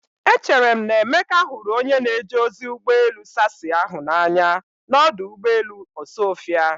Echere m na Emeka hụrụ onye na-eje ozi ụgbọ elu sassy ahụ n'anya n'ọdụ ụgbọ elu Osuofia.